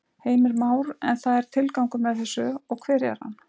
Heimir Már: En það er tilgangur með þessu og hver er hann?